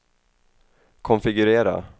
konfigurera